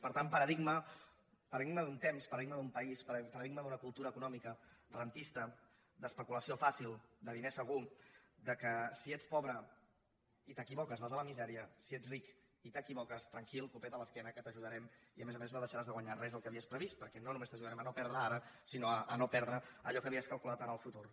per tant paradigma d’un temps paradigma d’un país paradigma d’una cultura econòmica rendista d’espe·culació fàcil de diner segur que si ets pobre i t’equi·voques vas a la misèria si ets ric i t’equivoques tran·quil copet a l’esquena que t’ajudarem i a més a més no deixaràs de guanyar res del que havies previst per·què no només t’ajudarem a no perdre ara sinó a no perdre allò que havies calculat en el futur